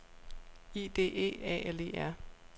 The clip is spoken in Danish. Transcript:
I D E A L E R